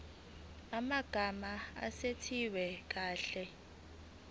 amagama asetshenziswe kahle